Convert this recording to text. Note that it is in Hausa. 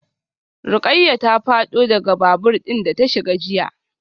Rukayyah ta fado daga babur din da ta shiga jiya.